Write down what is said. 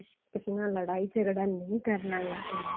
ਕਿਸੇ ਨਾਲ ਲੜਾਈ ਝਗੜਾ ਨਹੀਂ ਕਰਨਾ